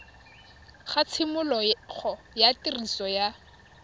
ga tshimologo ya tiriso ya